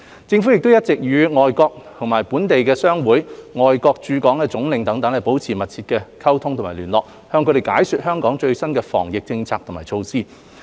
政府亦一直與各本地和外國商會、外國駐港領事等保持緊密的溝通和聯絡，向他們解說香港的最新防疫政策和措施。